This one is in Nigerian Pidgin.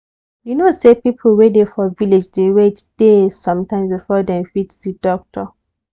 you know say people wey dey for village dey wait days sometimes before dem fit see doctor.